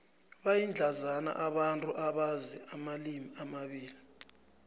bayindlandzana abantu abazi amalimi amabili